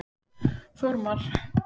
Þormar